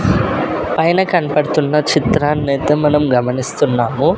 పైన కనపడుతున్న చిత్రాన్ని అయితే మనం గమనిస్తున్నాము.